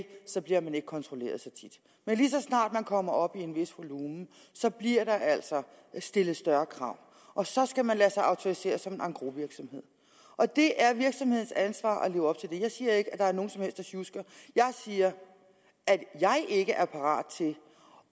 så bliver man ikke kontrolleret så tit men lige så snart man kommer op i en vis volumen så bliver der altså stillet større krav og så skal man lade sig autorisere som en engrosvirksomhed og det er virksomhedens ansvar at leve op jeg siger ikke at der er nogen som helst der sjusker jeg siger at jeg ikke er parat til